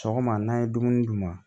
Sɔgɔma n'a ye dumuni d'u ma